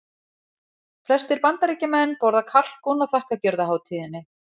Flestir Bandaríkjamenn borða kalkún á þakkargjörðarhátíðinni.